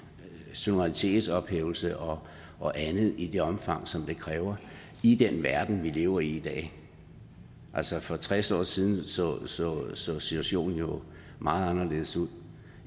suverænitetsophævelse og og andet i det omfang som det kræver i den verden vi lever i i dag altså for tres år siden så så situationen jo meget anderledes ud